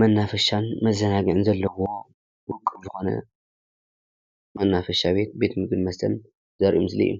መናፈሻን መዘናግዒን ዘለዎ ዉቁብ ዝኾነ መናፈሻ ቤት ፣ቤተ ምግብን ቤተ መስተን ዘርኢ ምስሊ እዩ።